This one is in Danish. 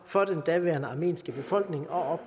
for den daværende armenske befolkning og